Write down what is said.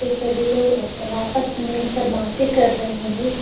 फिर सभी लोग आपस में मिल के बाते कर रहे है अभी ।